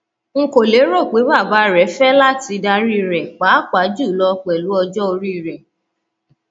n kò lérò pé bàbá rẹ fẹ láti darí rẹ pàápàá jùlọ pẹlú ọjọ orí rẹ